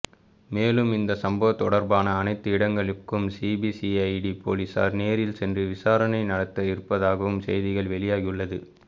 மேலும் இந்த சம்பவம் தொடர்பான அனைத்து இடங்களுக்கும் சிபிசிஐடி போலீசார் நேரில் சென்று விசாரணை நடத்த இருப்பதாகவும் செய்திகள் வெளியாகியுள்ளது